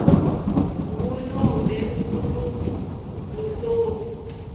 ngunobe nguluphi luhlobo